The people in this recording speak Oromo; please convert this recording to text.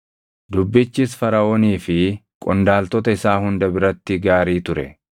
Dubbichis Faraʼoonii fi qondaaltota isaa hunda biratti gaarii ture.